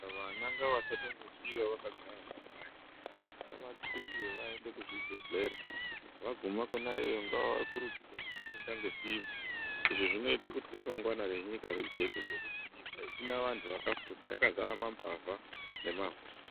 Vana ngavasatombosiiwa vakagare mumakanyi, ngavanxubwe vaende kuzvibhedhlera vaguma kwona iyoyo ngavakurudzirwe kufunda ngesimba izvi zvinoite kuti ramangwana renyika rijeke ngekuti nyika isna vantu vakafunda yakazara mambavha nemahure.